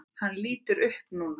Hann lítur upp núna.